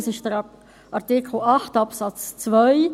es handelt sich um Artikel 8 Absatz 2.